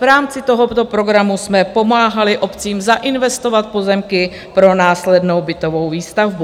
V rámci tohoto programu jsme pomáhali obcím zainvestovat pozemky pro následnou bytovou výstavbu.